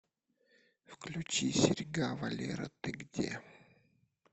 включи серьга валера ты где